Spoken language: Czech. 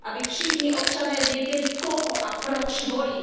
Aby všichni občané věděli, koho a proč volí.